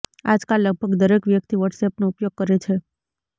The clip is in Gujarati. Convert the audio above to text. આજકાલ લગભગ દરેક વ્યક્તિ વોટ્સએપનો ઉપયોગ કરે છે